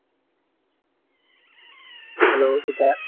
hello Bikash